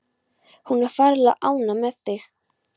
Hún er ferlega ánægð með þig.